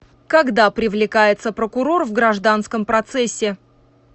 когда привлекается прокурор в гражданском процессе